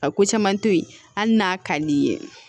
A ko caman tɛ yen hali n'a ka di i ye